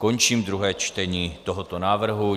Končím druhé čtení tohoto návrhu.